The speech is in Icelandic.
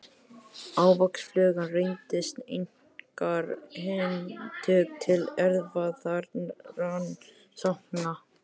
Ávaxtaflugan reyndist einkar hentug til erfðarannsókna.